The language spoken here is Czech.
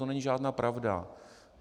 To není žádná pravda.